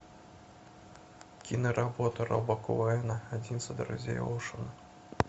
киноработа роба коэна одиннадцать друзей оушена